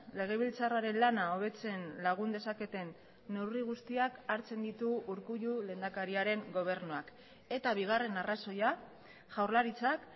legebiltzarraren lana hobetzen lagun dezaketen neurri guztiak hartzen ditu urkullu lehendakariaren gobernuak eta bigarren arrazoia jaurlaritzak